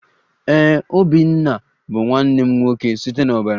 Ee, obinna bụ nwanne m nwoke site n'ọbara